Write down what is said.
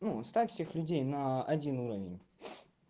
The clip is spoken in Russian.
ну ставим всех людей на один уровень